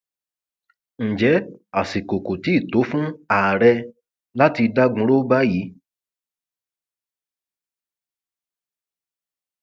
ǹjẹ àsìkò kò ti tó fún ààrẹ láti dagunrọ báyìí